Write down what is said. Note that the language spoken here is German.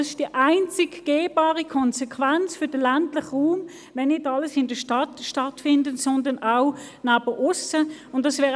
Es ist die einzige gangbare Konsequenz für den ländlichen Raum, dass nicht alles in der Stadt stattfindet, sondern auch abseits der Stadt.